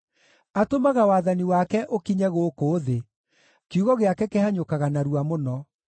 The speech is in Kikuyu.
Atũmaga wathani wake ũkinye gũkũ thĩ; kiugo gĩake kĩhanyũkaga narua mũno.